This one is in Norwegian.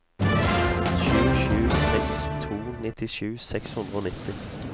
sju sju seks to nittisju seks hundre og nitti